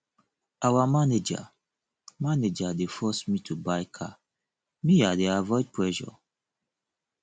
our manager manager dey force me to buy car me i dey avoid pressure